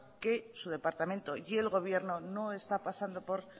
que su departamento y el gobierno no está pasando por